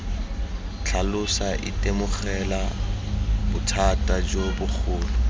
tlhalosa itemogela bothata jo bogolo